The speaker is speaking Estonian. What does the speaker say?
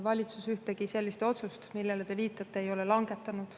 Valitsus ühtegi sellist otsust, millele te viitate, ei ole langetanud.